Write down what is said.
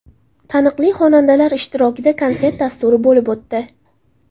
Taniqli xonandalar ishtirokida konsert dasturi bo‘lib o‘tdi.